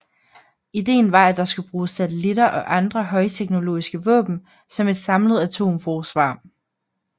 Ideen var at der skulle bruges satellitter og andre højteknologiske våben som et samlet atomforsvar